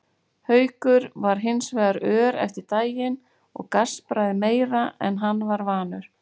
Haukur var hins vegar ör eftir daginn og gaspraði meira en hann var vanur.